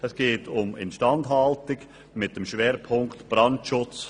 Es geht um Instandhaltung mit dem Schwerpunkt Brandschutz.